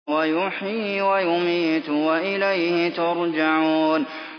هُوَ يُحْيِي وَيُمِيتُ وَإِلَيْهِ تُرْجَعُونَ